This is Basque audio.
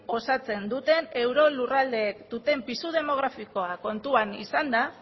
osatzen duten euro lurraldeek duten pisu demografikoa kontuan izanda